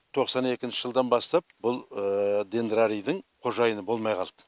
тоқсан екінші жылдан бастап бұл дендрарийдың қожайыны болмай қалды